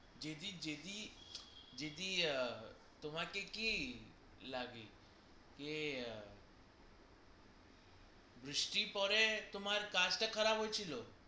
দিদি তোমাকে কি লাগে বৃষ্টি পরে তোমার কাজ টা খারাপ হইছিলো